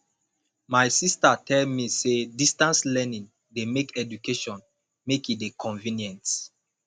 my sista tell me sey distance learning dey make education make e dey convenient